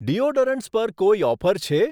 Deodorants પર કોઈ offer છે?